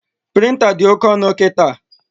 Prịnta dị oke ọnụ kịta